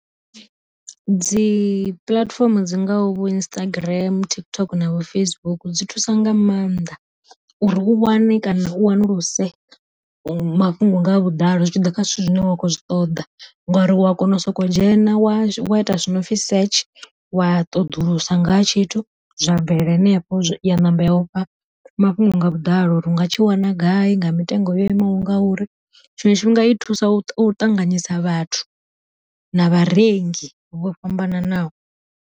Dzi puḽatifomo dzi ngaho vho Instagram, TikTok navho Facebook dzi thusa nga maanḓa, uri u wane kana u wanuluse mafhungo nga vhuḓalo zwi tshi ḓa kha zwithu zwine wa khou zwi ṱoḓa, ngori u a kona u soko dzhena wa wa ita zwi nopfi setshe wa ṱoḓulusa ngaha tshithu zwa bvelela henefho, ya ṋamba ya ufha mafhungo nga vhuḓalo uri u nga tshi wana gai nga mitengo yo imaho ngauri, tshiṅwe tshifhinga i thusa u ṱanganyisa vhathu na vharengi vho fhambananaho.